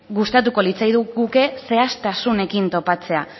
gustatuko litzaiguke zehaztasunekin topatzea